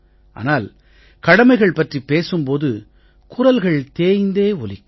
ஆனால் கடமைகள் பற்றிப் பேசும் போது குரல்கள் தேய்ந்தே ஒலிக்கும்